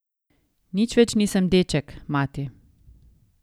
Nič več nisem deček, mati.